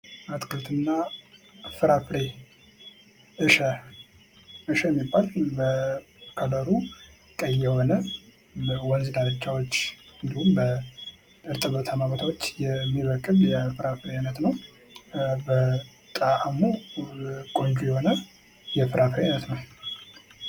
የቤት እንስሳት ክትባት ያስፈልጋቸዋል። የዱር እንስሳት ደግሞ በተፈጥሮ በሽታ የመከላከል አቅም አላቸው